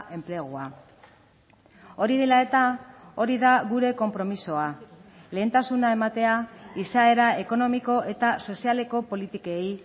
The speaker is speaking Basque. enplegua hori dela eta hori da gure konpromisoa lehentasuna ematea izaera ekonomiko eta sozialeko politikei